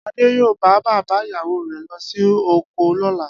Adé yóò bá bàbá ìyàwó re̩ lo̩ sí oko ló̩la